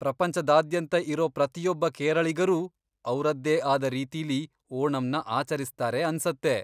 ಪ್ರಪಂಚದಾದ್ಯಂತ ಇರೋ ಪ್ರತಿಯೊಬ್ಬ ಕೇರಳಿಗರೂ ಅವ್ರದ್ದೇ ಆದ ರೀತಿಲಿ ಓಣಂನ ಆಚರಿಸ್ತಾರೆ ಅನ್ಸತ್ತೆ.